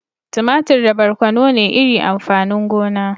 Tumatir da barkono ne iri amfanin gona.